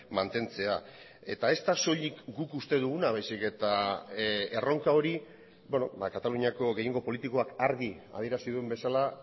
mantentzea eta ez da soilik guk uste duguna baizik eta erronka hori kataluniako gehiengo politikoak argi adierazi duen bezala